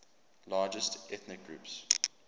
largest ethnic groups